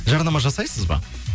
жарнама жасайсыз ба